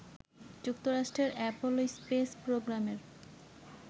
যুক্তরাষ্ট্রের Apollo space প্রোগ্রামের